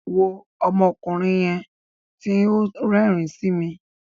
Wo ọmọkùnrin yẹn ti o n rérìn si mi.